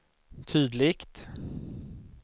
tydligt